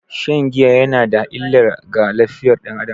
Shan giya yana da illa ga lafiyar dan Adam.